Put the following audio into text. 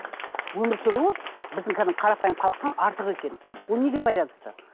өмір сүруі біздің кәдімгі қарапайым халықтан артық екен ол неге байланысты